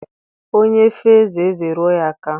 Onye fee ezé, ezé eruo ya aka.